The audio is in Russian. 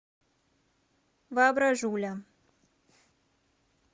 воображуля